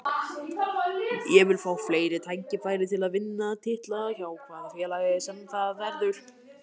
Ég vil fá fleiri tækifæri til að vinna titla, hjá hvaða félagi sem það verður.